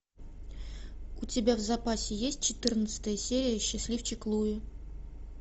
у тебя в запасе есть четырнадцатая серия счастливчик луи